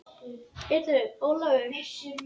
Heyrðu Ólafur.